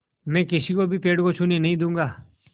मैं किसी को भी पेड़ को छूने भी नहीं दूँगा